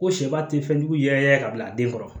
Ko sɛba tɛ fɛnjugu yɛrɛ ka bila a den kɔrɔ